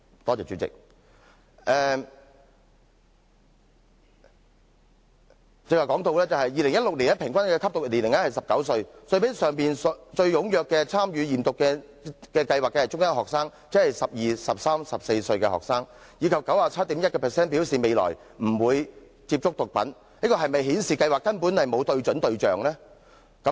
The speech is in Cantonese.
我剛才提到2016年平均首次吸毒年齡是19歲，但之前也提過最踴躍參與驗毒計劃的學生為中一學生，即12歲、13歲或14歲的學生，而且 97.1% 的學生表示未來兩年不會接觸毒品，凡此種種是否顯示計劃根本沒有對準對象？